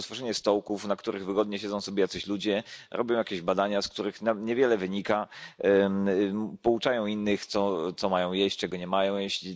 Jest to tylko tworzenie stołków, na których wygodnie siedzą sobie jacyś ludzie, robią jakieś badania, z których niewiele wynika, pouczają innych, co mają jeść, czego nie mają jeść.